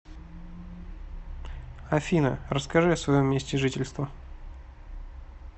афина расскажи о своем месте жительства